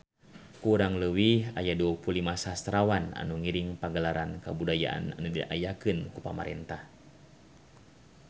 Kurang leuwih aya 25 sastrawan anu ngiring Pagelaran Kabudayaan anu diayakeun ku pamarentah